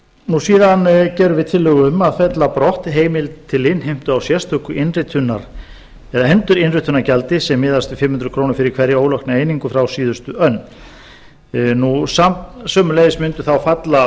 síðan gerum við tillögu um að fella brott heimild til innheimtu á sérstöku endurinnritunargjaldi með miðast við fimm hundruð krónur fyrir hverja ólokna einingu frá síðustu önn nú sömuleiðis mundi þá falla